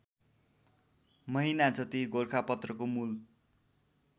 महिनाजति गोरखापत्रको मूल